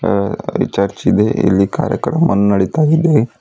ಆ ಚರ್ಚ್ ಇದೆ ಇಲ್ಲಿ ಕಾರ್ಯಕ್ರಮವನ್ನು ನಡಿತಾ ಇದೆ.